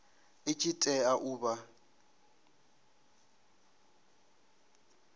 i tshi tea u vha